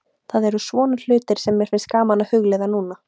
Það eru svona hlutir sem mér finnst gaman að hugleiða núna.